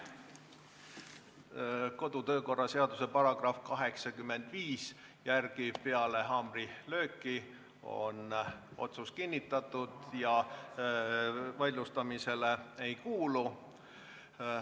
Kodu- ja töökorra seaduse § 85 järgi on otsus peale haamrilööki kinnitatud ja vaidlustamisele ei kuulu.